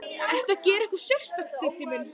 Ertu að gera eitthvað sérstakt, Diddi minn.